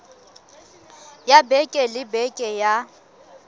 ya beke le beke ya